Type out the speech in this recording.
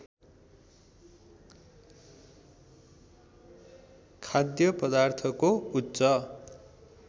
खाद्य पदार्थको उच्च